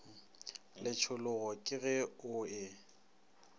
letšhologo ke ge o e